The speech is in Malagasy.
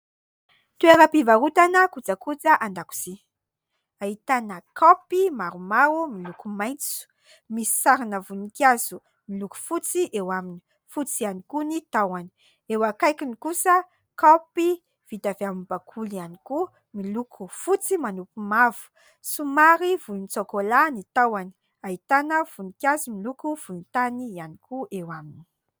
Toeram-pivarotana kojakoja an-dakozia : ahitana kaopy maromaro miloko maitso, misy sarina voninkazo miloko fotsy eo aminy fotsy ihany koa ny tahony ; eo akaikiny kosa kaopy vita avy amin'ny bakoly ihany koa miloko fotsy manopy mavo, somary volontsokolà ny tahony ahitana voninkazo miloko volontany ihany koa eo aminy.